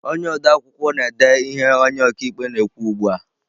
Onye odeakwụkwọ na-ede ihe onye ọkaikpe na-ekwu ugbu a.